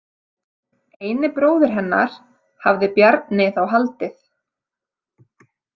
Eini bróðir hennar, hafði Bjarni þá haldið.